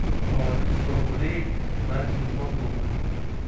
положить сто рублей на телефон друга